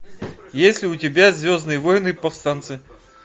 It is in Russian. есть ли у тебя звездные войны повстанцы